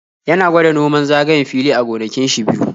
Ya na gwada noman zagayen fili a gonakin shi biyu.